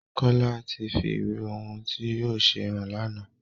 Kola tí fí ìwé ohùn tí yóò ṣe hàn lànà